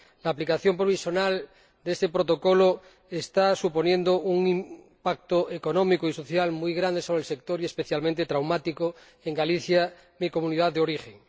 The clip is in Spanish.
La aplicación provisional de este Protocolo está suponiendo un impacto económico y social muy grande sobre el sector, y especialmente traumático en Galicia, mi Comunidad de origen.